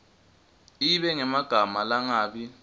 ibe ngemagama langabi